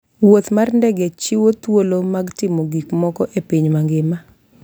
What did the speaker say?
Wuoth mar ndege chiwo thuolo mag timo gik moko e piny mangima.